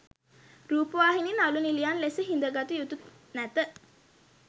රූපවාහිනී නළු නිළියන් ලෙස හිද ගත යුතු නැත.